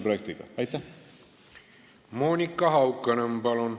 Monika Haukanõmm, palun!